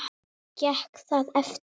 Gekk það eftir.